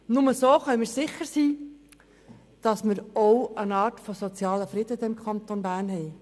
Nur so können wir sicher sein, dass wir eine Art von sozialem Frieden im Kanton Bern haben.